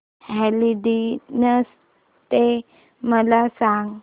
Valentine's Day मला सांग